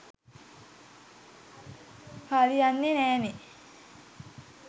හරියන්නෙ නෑනෙ.